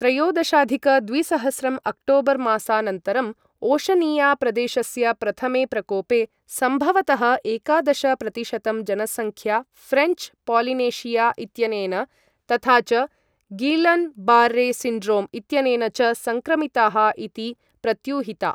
त्रयोदशाधिक द्विसहस्रं अक्टोबर् मासानन्तरम् ओशनिया प्रदेशस्य प्रथमे प्रकोपे, सम्भवतः एकादश प्रतिशतम् जनसङ्ख्या फ्रेंच् पोलिनेशिया इत्यनेन तथा च गीलन् बार्रे सिण्ड्रोम इत्यनेन च सङ्क्रमिताः इति प्रत्यूहिता।